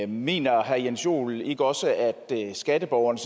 mener herre jens joel ikke også at skatteborgerne